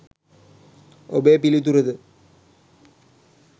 ඔබේ පිළිතුර ද